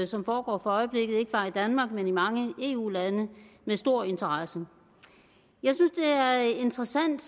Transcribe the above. som foregår for øjeblikket ikke bare i danmark men i mange eu lande med stor interesse jeg synes det er interessant